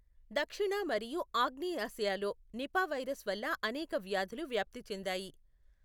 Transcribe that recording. దక్షిణ మరియు ఆగ్నేయాసియాలో నిపా వైరస్ వల్ల అనేక వ్యాధులు వ్యాప్తి చెందాయి.